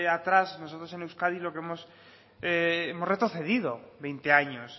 atrás nosotros en euskadi hemos retrocedido veinte años